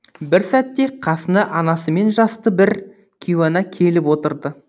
бір сәтте қасына анасымен жасты бір кейуана келіп отырды